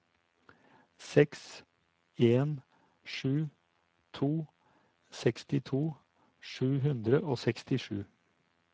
seks en sju to sekstito sju hundre og sekstisju